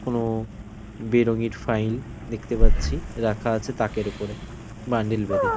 কোন বেরঙ্গিন ফাইল দেখতে পাচ্ছি রাখা আছে তাকের ওপরে বান্ডিল বেঁধে।